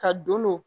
Ka don